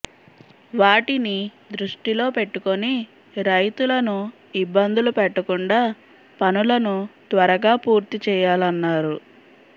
వాటిని దృష్టిలో పెట్టుకొని రైతులను ఇబ్బందులు పెట్టకుండా పనులను త్వరగా పూర్తి చేయాలన్నారు